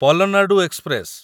Palnadu express